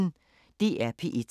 DR P1